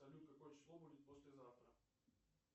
салют какое число будет послезавтра